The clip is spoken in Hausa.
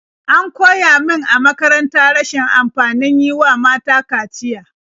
An koya min a makaranta rashin amfanin yi wa mata kaciya.